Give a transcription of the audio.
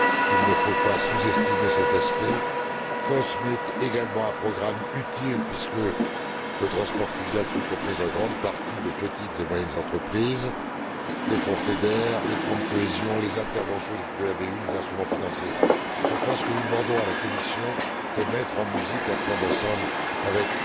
il ne faut pas sous estimer cet aspect COSME, qui est également un programme utile, puisque le transport fluvial se compose en grande partie de petites et moyennes entreprises, les fonds FEDER, les fonds de cohésion, les interventions de la BEI et les instruments financiers. Nous demandons à la Commission de mettre en musique un plan d'ensemble avec